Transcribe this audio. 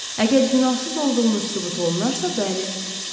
Əgər günahsız olduğunuz sübut olunarsa, bəli.